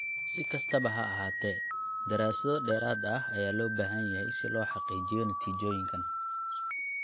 Si kastaba ha ahaatee, daraasado dheeraad ah ayaa loo baahan yahay si loo xaqiijiyo natiijooyinkan.